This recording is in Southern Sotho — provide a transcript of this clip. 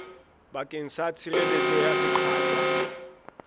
bakeng sa tshireletso ya seqatjwa